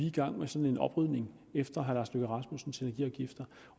i gang med sådan en oprydning efter herre lars løkke rasmussens energiafgifter